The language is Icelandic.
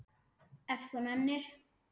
Ef þú nennir.